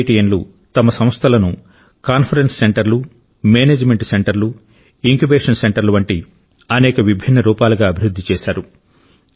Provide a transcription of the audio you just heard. ఐఐటియన్లు తమ సంస్థలను కాన్ఫరెన్స్ సెంటర్లు మేనేజ్మెంట్ సెంటర్లు ఇంక్యుబేషన్ సెంటర్లు వంటి అనేక విభిన్న రూపాలుగా అభివృద్ధి చేశారు